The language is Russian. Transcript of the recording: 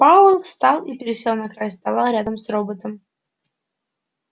пауэлл встал и пересел на край стола рядом с роботом